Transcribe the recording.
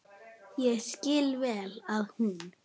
Ég skil vel að hún.